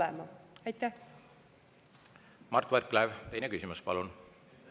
Mart Võrklaev, teine küsimus, palun!